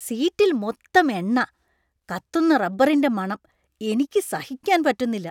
സീറ്റിൽ മൊത്തം എണ്ണ. കത്തുന്ന റബ്ബറിന്‍റെ മണം. എനിക്ക് സഹിക്കാൻ പറ്റുന്നില്ല .